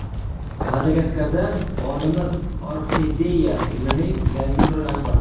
Madagaskarda olimlar orxideya gulining yangi turini aniqladi.